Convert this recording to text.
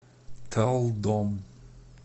талдом